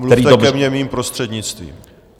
Mluvte ke mně mým prostřednictvím.